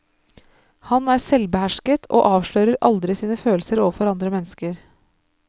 Han er selvbehersket, og avslører aldri sine følelser overfor andre mennesker.